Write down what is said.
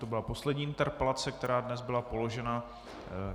To byla poslední interpelace, která dnes byla položena.